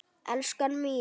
Elskan mín!